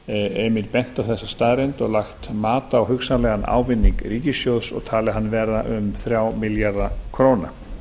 einmitt bent á þessa staðreynd og lagt mat á hugsanlegan ávinning ríkissjóðs og talið hann vera um þrjá milljarða króna